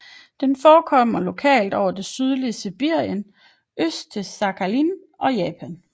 Den forekommer lokalt over det sydlige Sibirien øst til Sakhalin og Japan